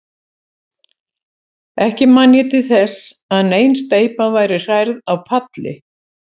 Ekki man ég til þess, að nein steypa væri hrærð á palli.